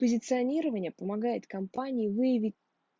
позиционирование помогает компании выявить